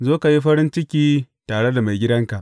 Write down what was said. Zo ka yi farin ciki tare da maigidanka!’